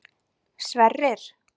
Sverrir